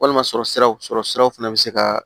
Walima sɔrɔ siraw sɔrɔ siraw fana bɛ se ka